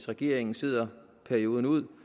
regeringen sidder perioden ud